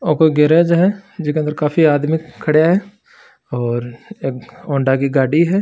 और कोई गेराज है जीके अंदर काफी आदमी खड़े है और एक हौंडा की गाडी है।